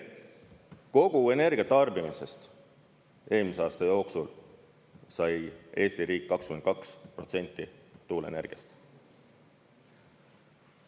Kogu energiatarbimisest eelmise aasta jooksul sai Eesti riik 22% tuuleenergiast.